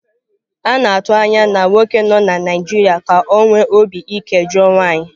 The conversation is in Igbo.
A na-atụ anya na nwoke nọ na Naịjirịa ka ọ nwee obi ike jụọ nwanyị.